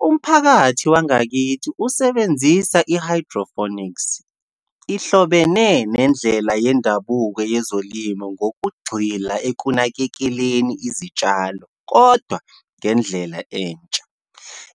Umphakathi wangakithi usebenzisa i-hydroponics, ihlobene nendlela yendabuko yezolimo ngokugxila ekunakekeleni izitshalo kodwa ngendlela entsha.